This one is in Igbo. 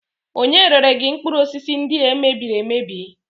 Ònye rere gị mkpụrụ osisi ndị a e mebiri emebi?